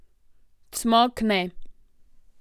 Cmok ne.